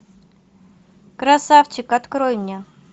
красавчик открой мне